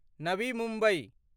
Navi Mumbai